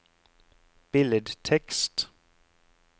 billedtekst